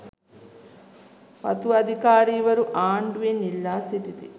වතු අධිකාරීවරු ආණ්ඩුවෙන් ඉල්ලා සිටිති